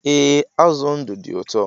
E, azụ ndụ dị ụtọ